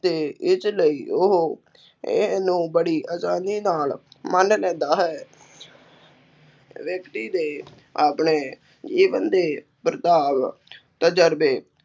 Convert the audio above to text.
ਅਤੇ ਇਸ ਲਈ ਉਹ ਇਹਨੂੰ ਬੜੀ ਆਸਾਨੀ ਨਾਲ ਮੰਨ ਲੈਂਦਾ ਹੈ ਵਿਅਕਤੀ ਦੇ ਆਪਣੇ ਜੀਵਨ ਦੇ ਪ੍ਰਭਾਵ ਤਜ਼ਰਬੇ